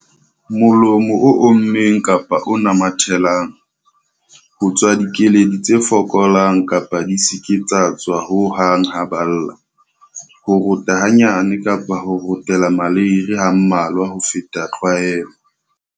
Molomo o ommeng kapa o namathelang. Ho tswa dikeledi tse fokolang kapa di se ke tsa tswa ho hang ha ba lla. Ho rota hanyane kapa ho rotela maleiri ha mmalwa ho feta tlwaelo.